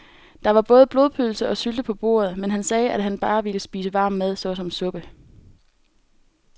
Der var både blodpølse og sylte på bordet, men han sagde, at han bare ville spise varm mad såsom suppe.